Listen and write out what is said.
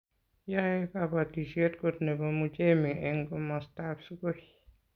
yoei kabotisiet koot nebo Muchemi eng komostab Sugoi